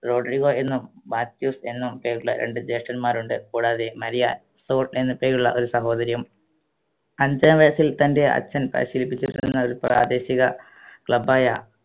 Rodrigo എന്നും Matheus എന്നും പേരുള്ള രണ്ട് ജ്യേഷ്ടന്മാരുണ്ട്‌ കൂടാതെ മരിയ സോൾ എന്ന് പേരുള്ള ഒരു സഹോദരിയും അഞ്ചാം വയസ്സിൽ തൻറെ അച്ഛൻ പരിശീലിപ്പിച്ചിരുന്ന ഒരു പ്രാദേശിക club ആയ